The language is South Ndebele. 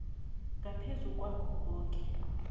ngaphezu kwakho koke